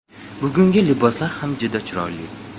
Bugungi liboslar ham juda chiroyli.